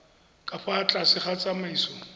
ka fa tlase ga tsamaiso